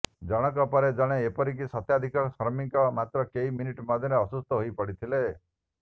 ଜଣଙ୍କ ପରେ ଜଣେ ଏହିପରି ଶତାଧିକ ଶ୍ରମିକ ମାତ୍ର କେଇ ମିନିଟ୍ ମଧ୍ୟରେ ଅସୁସ୍ଥ ହୋଇପଡ଼ିଥିଲେ